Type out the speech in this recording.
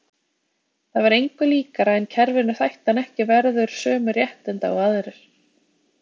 Það var engu líkara en kerfinu þætti hann ekki verður sömu réttinda og aðrir.